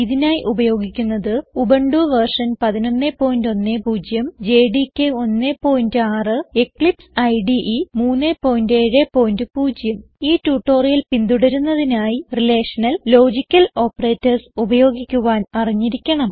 ഇതിനായി ഉപയോഗിക്കുന്നത് Ubuntu v 1110 JDK 16 Eclipse IDE 370 ഈ ട്യൂട്ടോറിയൽ പിന്തുടരുന്നതിനായി റിലേഷണൽ ലോജിക്കൽ ഓപ്പറേറ്റർസ് ഉപയോഗിക്കുവാൻ അറിഞ്ഞിരിക്കണം